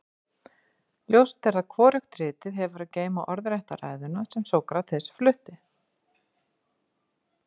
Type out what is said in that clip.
ljóst er að hvorugt ritið hefur að geyma orðrétta ræðuna sem sókrates flutti